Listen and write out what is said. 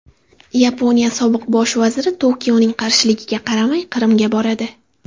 Yaponiya sobiq bosh vaziri Tokioning qarshiligiga qaramay Qrimga boradi.